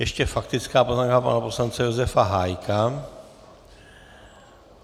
Ještě faktická poznámka pana poslance Josefa Hájka.